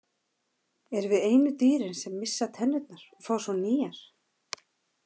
Erum við einu dýrin sem missa tennurnar og fá svo nýjar?